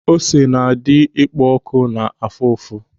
Ósé na-adị ekpo ọ̀kụ̀ na afụ ụfụ.